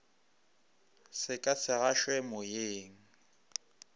se ka se gašwe moyeng